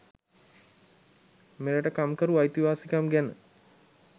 මෙරට කම්කරු අයිතිවාසිකම් ගැන